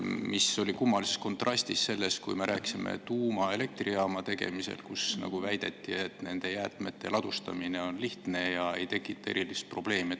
See on kummalises kontrastis sellega, et kui me rääkisime tuumaelektrijaama tegemisest, siis väideti, et nende jäätmete ladustamine on lihtne ega tekita erilist probleemi.